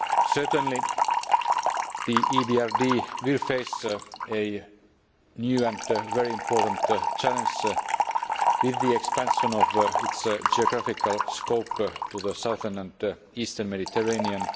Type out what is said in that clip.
Certainly, the EBRD will face a new and very important challenge with the expansion of its geographical scope to the southern and eastern Mediterranean.